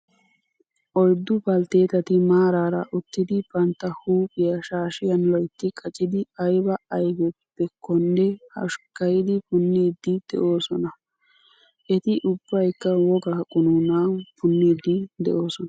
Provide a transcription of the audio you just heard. Oyiddu baltteetati maaraara uttidi bantta huuphiya shaashiyan loyitti qacidi ayiba ayipekkonne hoshkkayidi punniiddi doosona. Eti ubbayikka wogga qunuunan punniiddi doosona.